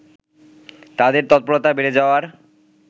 তাদের তৎপরতা বেড়ে যাওয়ার